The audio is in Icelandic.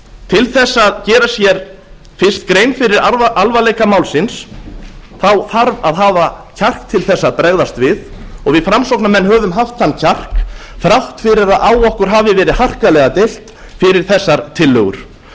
til þess að gera sér fyrst grein fyrir alvarleika málsins þarf að hafa kjark til þess að bregðast við og við framsóknarmenn höfum haft þann kjark þrátt fyrir að á okkur hafi verið harkalega deilt fyrir þessar tillögur því